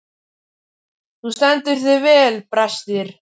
Þú stendur þig vel, Brestir!